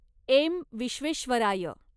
M. Visvesvaraya